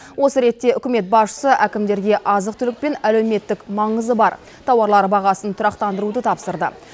осы ретте үкімет басшысы әкімдерге азық түлік пен әлеуметтік маңызы бар тауарлар бағасын тұрақтандыруды тапсырды